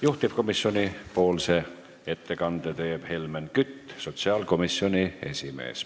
Juhtivkomisjoni ettekande teeb Helmen Kütt, sotsiaalkomisjoni esimees.